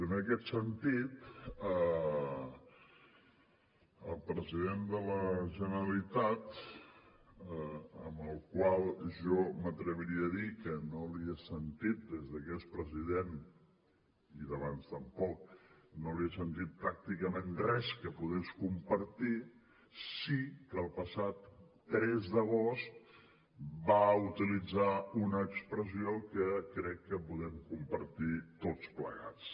i en aquest sentit el president de la generalitat al qual jo m’atreviria a dir que no li he sentit des de que és president i d’abans tampoc pràcticament res que pogués compartir sí que el passat tres d’agost va utilitzar una expressió que crec que podem compartir tots plegats